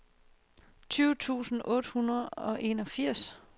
tolv tusind otte hundrede og enogfirs